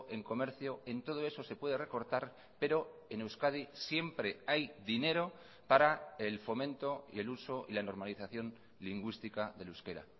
en comercio en todo eso se puede recortar pero en euskadi siempre hay dinero para el fomento y el uso y la normalización lingüística del euskera